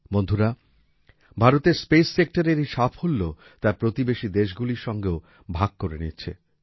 বন্ধুরা ভারত স্পেস সেক্টরের এই সাফল্য তার প্রতিবেশী দেশগুলির সঙ্গেও ভাগ করে নিচ্ছে